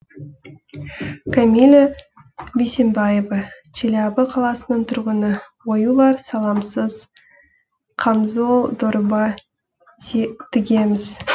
камила бисенбаева челябі қаласының тұрғыны оюлар саламсыз қамзол дорба тігеміз